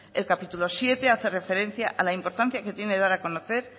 el capítulo séptimo hace referencia a la importancia que tiene dar a conocer